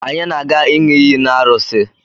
Anyi na-aga ịṅị iyi n'arusi